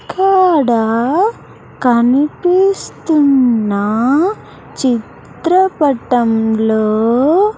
ఇక్కడ కనిపిస్తున్న చిత్రపటంలో.